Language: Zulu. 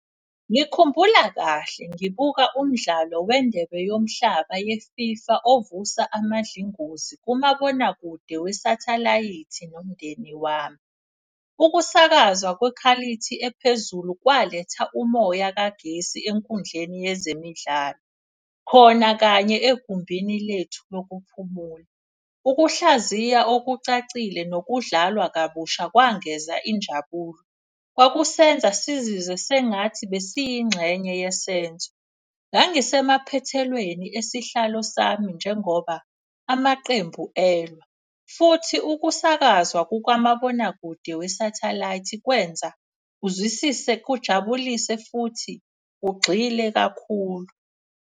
Ngikhumbula kahle ngibuka umdlalo wendebe yomhlaba ye-FIFA ovusa amandlingozi kumabonakude wesathalayithi nomndeni wami. Ukusakazwa kwekhalithi ephezulu kwaletha umoya kagesi enkundleni yezemidlalo, khona kanye egumbini lethu lokuphumula. Ukuhlaziya okucacile nokudlalwa kabusha kwangeza injabulo. Kwakusenza sizizwe sengathi besiyingxenye yesenzo. Ngangisemaphethelweni esihlalo sami njengoba amaqembu elwa, futhi ukusakazwa kukamabonakude wesathalayithi. Kwenza uzwisise, kujabulise futhi ugxile kakhulu.